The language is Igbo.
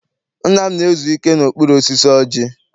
Nna m na-ezu ike n'okpuru osisi ọjị.